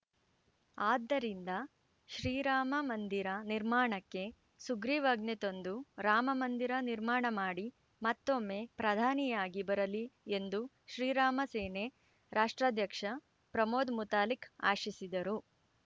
ಆದ್ದರಿಂದ ಶ್ರೀರಾಮ ಮಂದಿರ ನಿರ್ಮಾಣಕ್ಕೆ ಸುಗ್ರೀವಾಜ್ಞೆ ತಂದು ರಾಮಮಂದಿರ ನಿರ್ಮಾಣ ಮಾಡಿ ಮತ್ತೊಮ್ಮೆ ಪ್ರಧಾನಿಯಾಗಿ ಬರಲಿ ಎಂದು ಶ್ರೀರಾಮ ಸೇನೆ ರಾಷ್ಟ್ರಾಧ್ಯಕ್ಷ ಪ್ರಮೋದ್‌ ಮುತಾಲಿಕ್‌ ಆಶಿಸಿದರು